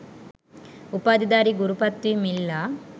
උපාධිධාරී ගුරු පත්වීම් ඉල්ලා